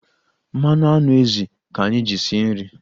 Mmanụ anụ ezì ka anyị ji sie nri.